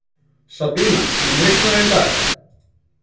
Sabína, mun rigna í dag?